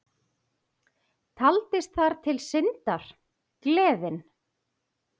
Taldist þar til syndar, gleðin.